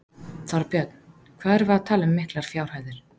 Þorbjörn: Hvað erum við að tala um miklar fjárhæðir?